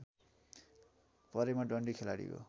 परेमा डन्डी खेलाडीको